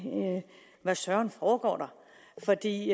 hvad søren foregår der for det